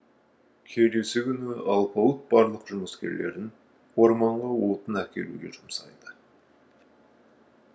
келесі күні алпауыт барлық жұмыскерлерін орманға отын әкелуге жұмсайды